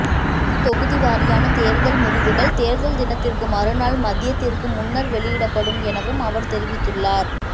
தொகுதி வாரியான தேர்தல் முடிவுகள் தேர்தல் தினத்திற்கு மறுநாள் மதியத்திற்கு முன்னர் வெளியிடப்படும் எனவும் அவர் தெரிவித்துள்ளார்